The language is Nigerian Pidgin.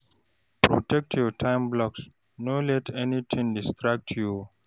Protect your time blocks, no let anytin distract you o.